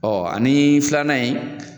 ani filanan in